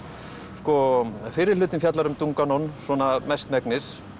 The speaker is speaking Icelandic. sko fyrri hlutinn fjallar um Dunganon svona mestmegnis